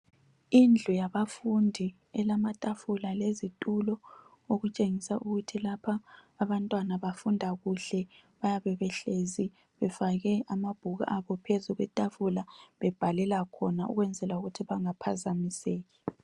Indlu zabafundi elamatafula lezitulo okutshengisa ukuthi lapha abantwana bafunda kuhle bayabe behlezi befake amabhuku abo phezu kwetafula bebhalela khona ukwenzela ukuthi bengaphazamiseki.